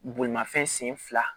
Bolimafɛn sen fila